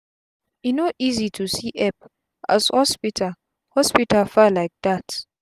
e no easy to see epp as hospital hospital far lyk dat